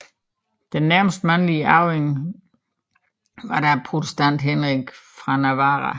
Den nærmeste mandlige arving var da protestanten Henrik af Navarra